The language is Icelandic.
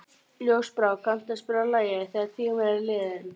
Ljósbrá, kanntu að spila lagið „Þegar tíminn er liðinn“?